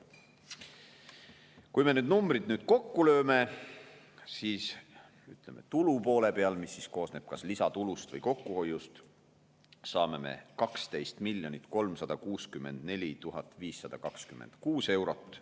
Kui me need numbrid nüüd kokku lööme, siis tulu poole peal, mis koosneb kas lisatulust või kokkuhoiust, saame 12 364 526 eurot.